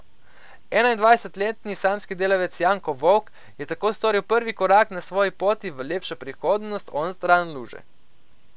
Enaindvajsetletni samski delavec Janko Vovk je tako storil prvi korak na svoji poti v lepšo prihodnost onstran luže.